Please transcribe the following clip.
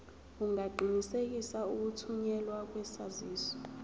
ungaqinisekisa ukuthunyelwa kwesaziso